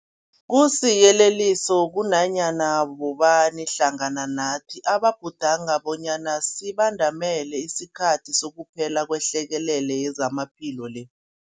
Kusiyeleliso kunanyana bobani hlangana nathi ababhudanga bonyana sibandamele isikhathi sokuphela kwehlekelele yezamaphilo le.